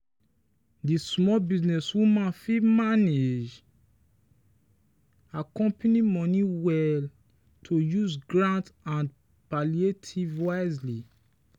the small business woman manage her company money well to use grant and palliative wisely.